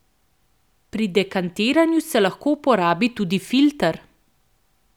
Pri dekantiranju se lahko uporabi tudi filter.